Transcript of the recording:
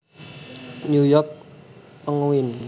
New York Penguin